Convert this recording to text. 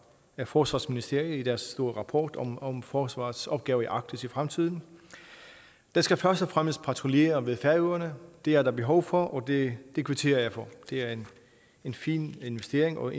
forsvarsministeriet i deres store rapport om om forsvarets opgave i arktis i fremtiden der skal først og fremmest patruljeres ved færøerne det er der behov for og det kvitterer jeg for det er en fin investering og